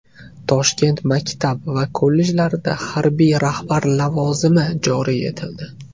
Toshkent maktab va kollejlarida harbiy rahbar lavozimi joriy etildi.